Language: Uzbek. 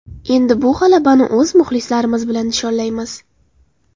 Endi bu g‘alabani o‘z muxlislarimiz bilan nishonlaymiz.